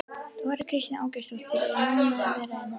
Þóra Kristín Ásgeirsdóttir: Ertu ánægð að vera hér?